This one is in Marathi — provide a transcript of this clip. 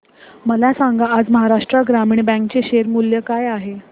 मला सांगा आज महाराष्ट्र ग्रामीण बँक चे शेअर मूल्य काय आहे